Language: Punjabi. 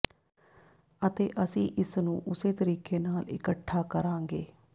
ਅਤੇ ਅਸੀਂ ਇਸ ਨੂੰ ਉਸੇ ਤਰੀਕੇ ਨਾਲ ਇਕੱਠਾ ਕਰਾਂਗੇ